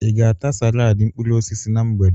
I ga-ata salaadị mkpụrụosisi na mgbede?